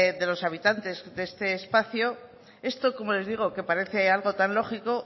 de los habitantes de este espacio esto como les digo que parece algo tan lógico